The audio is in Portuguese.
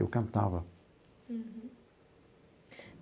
Eu cantava. Uhum.